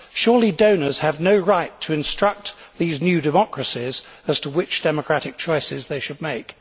Surely donors have no right to instruct these new democracies as to which democratic choices they should make?